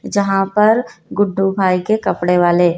जहां पर गुड्डू भाई के कपड़े वाले--